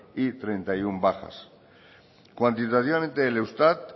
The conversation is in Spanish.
y treinta y uno bajas cuantitativamente el eustat